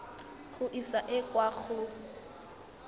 go e isa kwa go